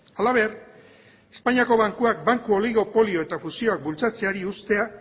halaber espainiako bankuak banku oligopolio eta fusioak bultzatzeari ustea